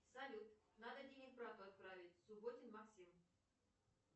салют надо денег брату отправить субботин максим